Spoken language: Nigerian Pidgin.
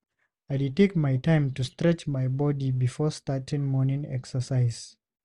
I dey take my time to stretch my body before starting morning exercise.